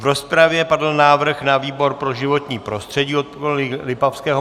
V rozpravě padl návrh na výbor pro životní prostředí od kolegy Lipavského.